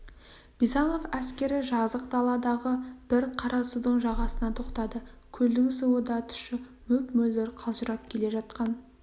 бизанов әскері жазық даладағы бір қарасудың жағасына тоқтады көлдің суы да тұщы мөп-мөлдір қалжырап келе жатқан